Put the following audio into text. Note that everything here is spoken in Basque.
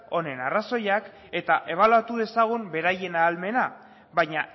honen arrazoiak eta ebaluatu dezagun beraien ahalmena baina